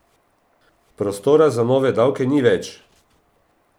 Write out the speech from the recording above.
Prostora za nove davke ni več!